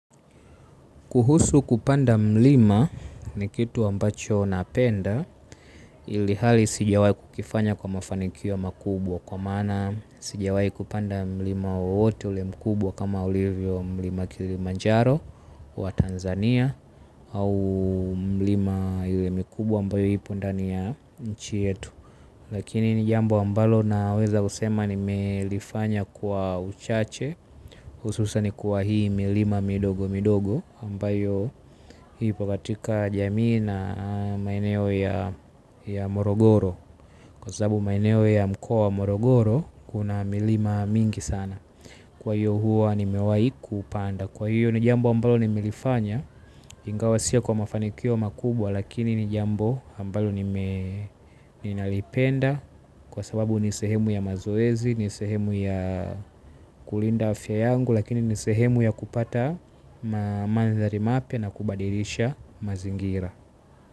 Kuhusu kupanda mlima ni kitu ambacho napenda ilihali sijawahi kukifanya kwa mafanikio makubwa kwa maana sijawahi kupanda mlima wowote ule mkubwa kama ulivyo mlima kilimanjaro wa Tanzania au mlima ile mikubwa ambayo ipo ndani ya nchi yetu. Lakini ni jambo ambalo naweza kusema nimelifanya kwa uchache. Hususan kwa hii milima midogo midogo ambayo ipao katika jamii na maeneo ya morogoro, kwa sababu maeneo ya mkoa wa morogoro kuna milima mingi sana. Kwa hiyo huwa nimewahi kuupanda. Kwa hiyo ni jambo ambalo nimelifanya. Ingawa sio kwa mafanikio makubwa lakini ni jambo ambalo nine, ninalipenda kwa sababu ni sehemu ya mazoezi, ni sehemu ya kulinda afya yangu lakini ni sehemu ya kupata manthari mapya na kubadilisha mazingira.